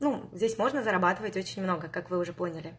ну здесь можно зарабатывать очень много как вы уже поняли